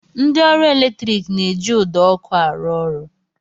Ndị ọrụ eletrik na-eji ụdọ ọkụ arụ ọrụ